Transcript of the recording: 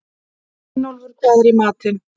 Gunnólfur, hvað er í matinn?